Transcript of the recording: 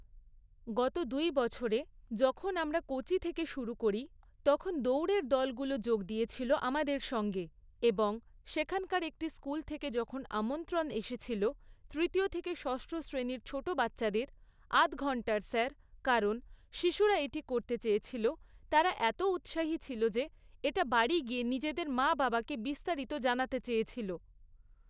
গত দুই বছরে, যখন আমরা কোচি থেকে শুরু করি, তখন দৌড়ের দলগুলো যোগ দিয়েছিলো আমাদের সঙ্গে এবং সেখানকার একটি স্কুল থেকে যখন আমন্ত্রণ এসেছিল, তৃতীয় থেকে ষষ্ঠ শ্রেণির ছোট বাচ্চাদের, আধ ঘন্টার স্যার, কারণ শিশুরা এটি করতে চেয়েছিল, তারা এত উৎসাহী ছিল যে এটা বাড়ি গিয়ে নিজেদের মা বাবাকে বিস্তারিত জানাতে চেয়েছিল।